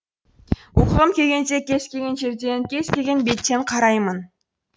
оқығым келгенде кез келген жерден кез келген беттен қараймын